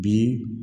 Bi